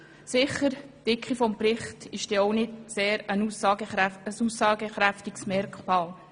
Aber die Dicke eines Berichts ist ja sicher auch kein sehr aussagekräftiges Merkmal.